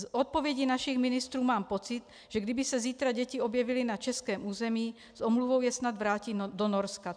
Z odpovědí našich ministrů mám pocit, že kdyby se zítra děti objevily na českém území, s omluvou je snad vrátí do Norska.